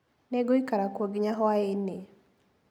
Nĩngũikara kuo nginya hwaĩ-inĩ.